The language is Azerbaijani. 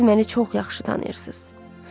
Siz məni çox yaxşı tanıyırsınız.